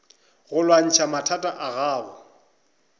go lwantšha mathata a gago